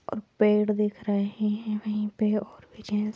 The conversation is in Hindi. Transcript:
और पेड़ दिख रहे हैं वहीं पे और भी चीज --